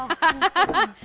höndina